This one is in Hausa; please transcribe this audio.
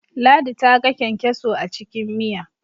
ladi ta ga kyankyaso a cikin Miya